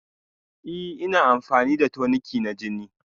Ee ina amfani da toniki na jini